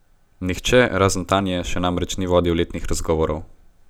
Nihče, razen Tanje, še namreč ni vodil letnih razgovorov.